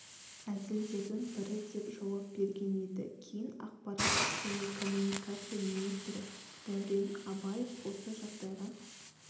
әзілдердің бірі деп жауап берген еді кейін ақпарат және коммуникация министрі дәурен абаев осы жағдайға